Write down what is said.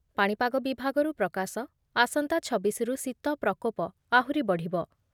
। ପାଣିପାଗ ବିଭାଗରୁ ପ୍ରକାଶ, ଆସନ୍ତା ଛବିଶରୁ ଶୀତ ପ୍ରକୋପ ଆହୁରି ବଢ଼ିବ ।